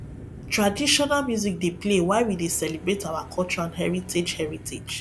traditional music dey play while we dey celebrate our culture and heritage heritage